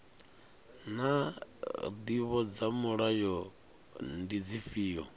naa ndivho dza mulayo ndi dzifhio